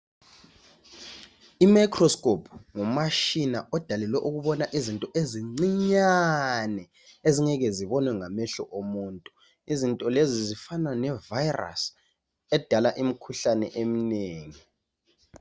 Imicroscope ngumtshina odalelwe ukubona into ezincinyane ezingeke zibonwe ngamehlo omuntu izinto lezi zifana levirus edala imikhuhlane eminengi.